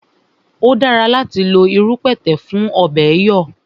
O dára láti lo irú pẹ̀tẹ̀ fún ọ̀bẹ̀ẹ̀ yọ̀